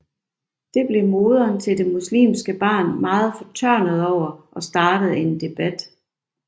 Det blev moderen til det muslimske barn meget fortørnet over og startede en debat